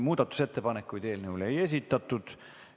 Muudatusettepanekuid eelnõu kohta ei esitatud.